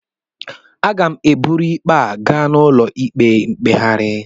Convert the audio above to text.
Aga m eburu ikpe ahụ gaa n'ụlọ ikpe mkpegharị